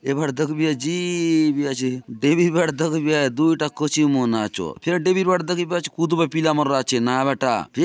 ये बाट दखबी आचे जीबी आचे देबि बाटे दखबि आचे दूय ठा कछिम मन आचोत फेर देबि बाटे दखबि आचे कूदबा पिला मन र आचे नहाय बा टा --